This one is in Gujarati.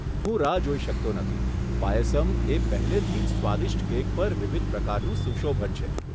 હું રાહ જોઈ શકતો નથી, પાયસમ એ પહેલેથી જ સ્વાદિષ્ટ કેક પર વિવિધ પ્રકારનું સુશોભન છે.